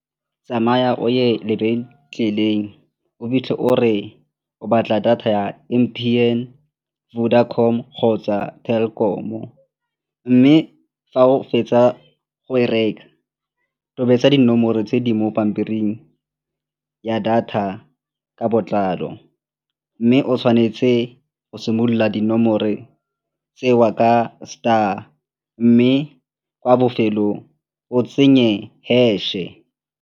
Tsamaya o ye lebenkeleng o fitlhe o re o batla data ya M_T_N, Vodacom kgotsa Telkom-o mme fa o fetsa go e reka a tobetsa dinomoro tse di mo pampiring ya data ka botlalo. Mme o tshwanetse go simolola dinomoro tseo ka star mme kwa bofelong o tsenye hash-e.